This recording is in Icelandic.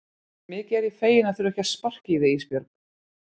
Mikið er ég feginn að þurfa ekki að sparka í þig Ísbjörg.